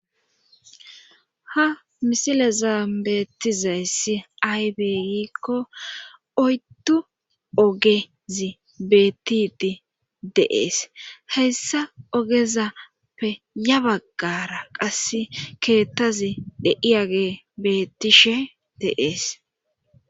Ha misile zaambeettizayssi aybeygikko oyttu ogezi bettidi deees heyssa ogezappe ya baggara qass keettazi dhei age bettishe deees.